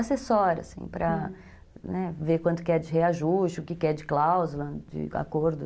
Assessora, assim, hum, para ver quanto que é de reajuste, o que é de cláusula, de acordo.